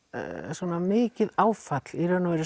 svona mikil áfall